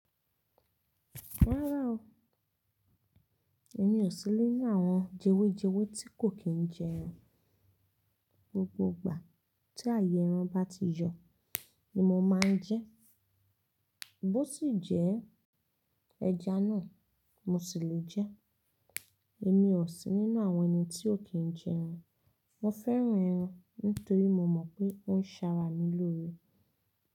Rárá o, èmi ò sí nínú àwọn jewejewe tí kò kí ń jẹ ẹran. Gbogbo ìgbà tí ààyè ẹran bá ti yọ̀ ni mo máa ń jẹ ẹ́. Bó sì jẹ́ ẹja náà mo sì le jẹ ẹ́. Èmi ò sí nínú àwọn ẹni tí ò kí ń jẹ ẹran. Mo fẹ́ran ẹran nítorí mo mọ̀ pé ó ń ṣara mi lórí.